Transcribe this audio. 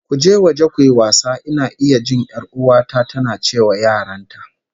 "Go out and play", I can hear my sister ordering her kids